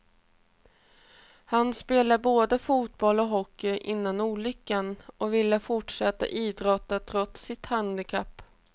Han spelade både fotboll och hockey innan olyckan, och ville fortsätta idrotta trots sitt handikapp.